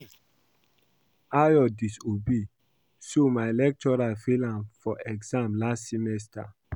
Ayo disobey so my lecturer fail am for exam last semester